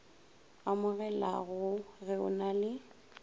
amogelago ge o na le